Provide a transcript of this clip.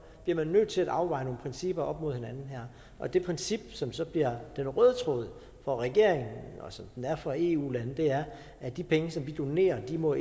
bliver man nødt til at afveje nogle principper op mod hinanden her og det princip som så bliver den røde tråd for regeringen og som den er for eu lande er at de penge som vi donerer ikke må